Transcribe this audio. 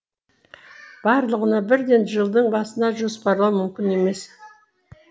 барлығына бірден жылдың басында жоспарлау мүмкін емес